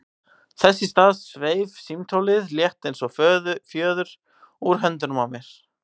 Þess í stað sveif símtólið, létt eins og fjöður, úr höndunum á mér.